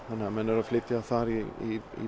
menn eru að flytja þar í